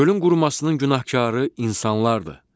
Gölün qurumasının günahkarı insanlardır.